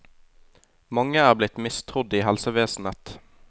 Mange er blitt mistrodd i helsevesenet.